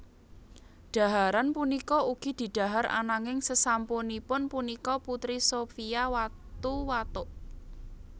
Dhaharan punika ugi didhahar ananging sesampunipun punika Putri Sophia watu watuk